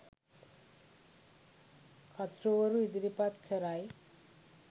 කර්තෘවරු ඉදිරිපත් කරයි